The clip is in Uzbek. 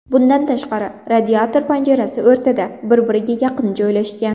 Bundan tashqari, radiator panjarasi o‘rtada, bir-biriga yaqin joylashgan.